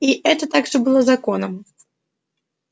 и это также было законом